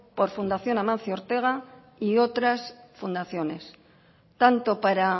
por fundación amancio ortega y otras fundaciones tanto para